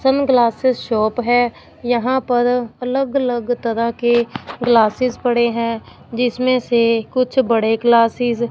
sunglasses shop है यहां पर अलग अलग तरह के ग्लासेस पड़े हैं जिसमें से कुछ बड़े ग्लासीज --